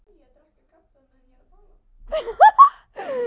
Þóra Arnórsdóttir: Það er nú vel yfir meðaltali?